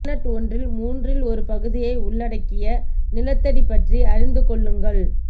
planet ஒன்றில் மூன்றில் ஒரு பகுதியை உள்ளடக்கிய நிலத்தடி பற்றி அறிந்து கொள்ளுங்கள்